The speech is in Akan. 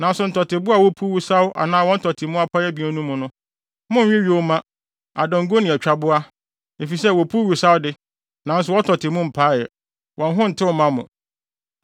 Nanso ntɔteboa a wopuw wosaw anaa wɔn tɔte mu apae abien no mu no, monnwe yoma, adanko ne atwaboa, efisɛ, wopuw wosaw de, nanso wɔn tɔte mu mpae; wɔn ho ntew mma mo.